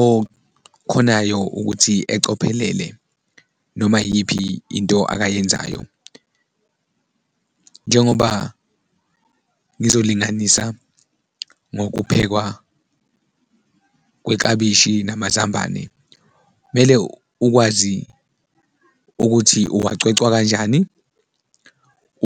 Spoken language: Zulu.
okhonayo ukuthi ecophelele noma iyiphi into akayenzayo, njengoba ngizolinganisa ngokuphekwa kweklabishi namazambane, mele ukwazi ukuthi uwacwecwa kanjani,